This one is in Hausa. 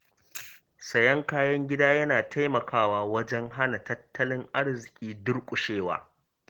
Sayen kayan gida yana taimakawa wajen hana tattalin arziƙi durƙushewa.